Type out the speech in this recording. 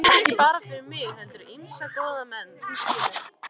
Ekki bara fyrir mig heldur ýmsa góða menn, þú skilur.